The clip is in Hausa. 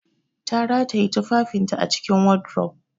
Ta rataye tufafinta a cikin wardrobe